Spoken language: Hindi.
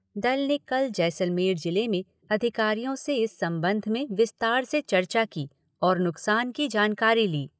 दल ने कल जैसलमेर जिले में अधिकारियों से इस संबंध में विस्तार से चर्चा की और नुकसान की जानकारी ली।